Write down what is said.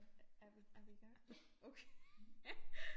Er vi er vi i gang? Okay